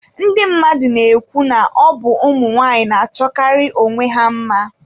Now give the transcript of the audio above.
Ndị mmadụ na-ekwu na ọ bụ ụmụnwaanyị na-achọkarị onwe ha mma.